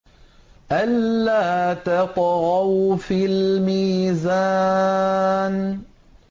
أَلَّا تَطْغَوْا فِي الْمِيزَانِ